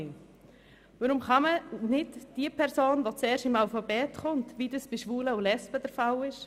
Warum kann man nicht die Nummer derjenigen Person nehmen, die zuerst im Alphabet erscheint, wie das bei Schwulen und Lesben der Fall ist?